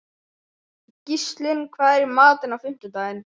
Gíslunn, hvað er í matinn á fimmtudaginn?